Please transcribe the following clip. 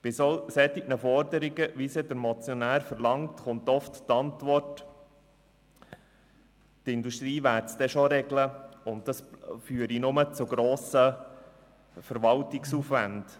Bei solchen Forderungen, wie sie der Motionär verlangt, kommt oft die Antwort, die Industrie werde es dann schon regeln, und das führe nur zu grossem Verwaltungsaufwand.